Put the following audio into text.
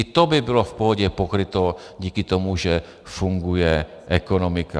I to by bylo v pohodě pokryto díky tomu, že funguje ekonomika.